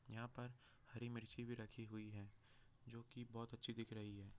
यहाँ पर हरी मिर्ची भी राखी हुई है जो की बहुत अच्छी दिख रही हैं।